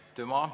Aitüma!